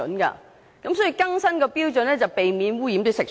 所以，更新標準才可避免污染食水。